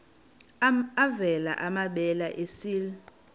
avela amabele esel